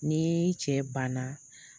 Ni i cɛ banna